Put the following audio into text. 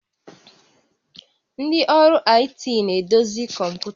Ndị ọrụ IT na-edozi kọmpụta